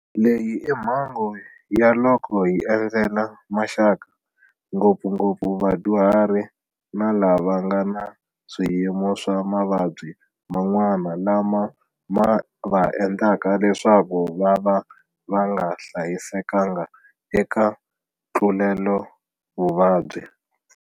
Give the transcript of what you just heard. Leyi i mhangu ya loko hi endzela maxaka, ngopfungopfu vadyuhari na lava va nga na swiyimo swa ma vabyi man'wana lama ma va endlaka leswaku vava va nga hlayisekanga eka ntluletovuvabyi.